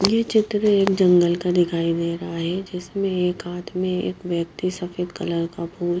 यह चित्र एक जंगल का दिखाई दे रहा है जिसमें एक हाथ में एक व्यक्ति सफेद कलर का फूल--